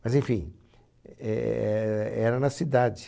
Mas, enfim, era na cidade.